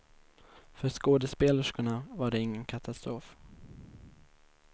För skådespelerskorna var det ingen katastrof.